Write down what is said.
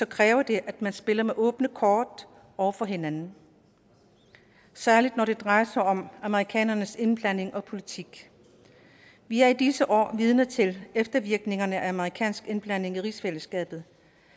kræver det at man spiller med åbne kort over for hinanden særlig når det drejer sig om amerikanernes indblanding og politik vi er i disse år vidne til eftervirkningerne af amerikansk indblanding i rigsfællesskabet